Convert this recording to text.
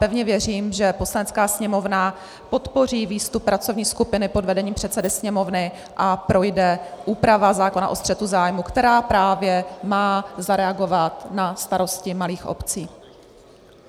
Pevně věřím, že Poslanecká sněmovna podpoří výstup pracovní skupiny pod vedením předsedy Sněmovny a projde úprava zákona o střetu zájmů, která právě má zareagovat na starosti malých obcí.